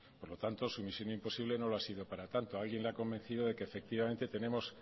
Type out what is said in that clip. por lo tanto su misión imposible no lo ha sido para tanto alguien le ha convencido de que efectivamente tenemos